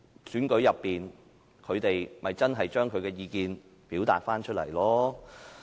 長久以來，他們在選舉裏面把意見表達出來。